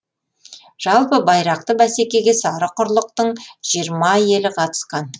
жалпы байрақты бәсекеге сары құрлықтың жиырма елі қатысқан